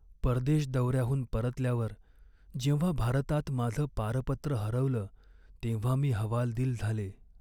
परदेश दौऱ्याहून परतल्यावर जेव्हा भारतात माझं पारपत्र हरवलं तेव्हा मी हवालदिल झाले.